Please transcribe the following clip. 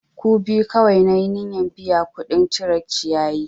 Ku biyu kawai na yi niyyan biya kuɗin cire ciyayi!